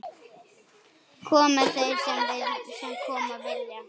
Komi þeir sem koma vilja.